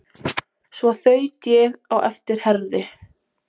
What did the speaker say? Svo þaut ég á eftir Herði.